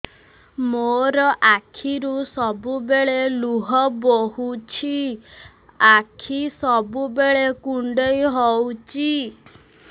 ମୋର ଆଖିରୁ ସବୁବେଳେ ଲୁହ ବୋହୁଛି ଆଖି ସବୁବେଳେ କୁଣ୍ଡେଇ ହଉଚି